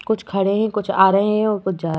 कुछ खड़े हैं और कुछ आ रहे हैं और कुछ जा --